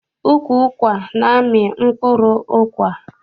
Ukwu ụkwa na-amị mkpụrụ ụkwa.